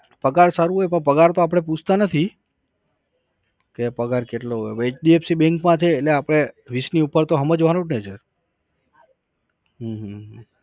પગાર સારું હોય પણ પગાર તો આપણે પૂછતા નથી. કે પગર કેટલો હોય. hdfc bank માં છે એટલે આપણે વીસ નું ઉપર તો સમજવાનું ને છે હમ